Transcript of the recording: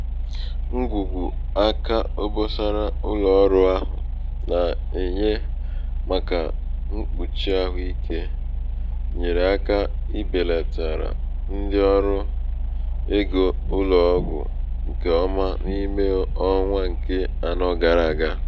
ṅgwùgwù aka obosara ụlọ̀ọrụ̄ ahụ̀ nà-ènye màkà mkpùchi àhụikē nyèèrè aka ibèlàtàrà ndị ọrụ ego ụlọ̀ọgwụ ṅkè ọma n’ime ọnwa ṅ̀ke anọ gara àga.